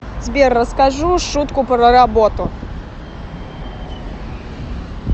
сбер расскажу шутку про работу